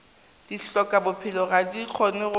dihlokabophelo ga di kgone go